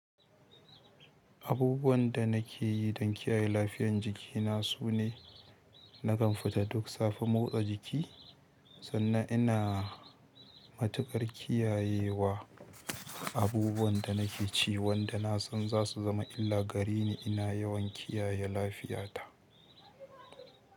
Abubuwan da nake yi don kiyaye lafiyan jikina sune, na kan fita duk safe motsa jiki, sannan ina matuƙar kiyayewa abubuwan da nake ci wanda na san za su zama illa gare ni ina yawan kiyaye lafiyata.